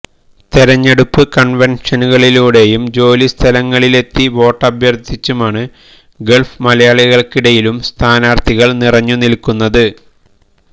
തെരഞ്ഞെടുപ്പ് കൺവെൻഷനുകളിലൂടെയും ജോലി സ്ഥലങ്ങളിലെത്തി വോട്ടഭ്യർ്ത്ഥിച്ചുമാണ് ഗൾഫ് മലയാളികൾക്കിടയിലും സ്ഥാനാർത്ഥികൾ നിറഞ്ഞു നിൽക്കുന്നത്